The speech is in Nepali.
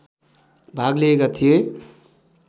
भाग लिएका थिए